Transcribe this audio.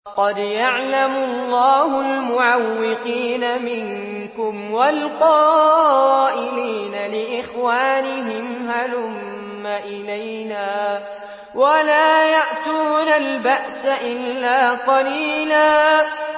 ۞ قَدْ يَعْلَمُ اللَّهُ الْمُعَوِّقِينَ مِنكُمْ وَالْقَائِلِينَ لِإِخْوَانِهِمْ هَلُمَّ إِلَيْنَا ۖ وَلَا يَأْتُونَ الْبَأْسَ إِلَّا قَلِيلًا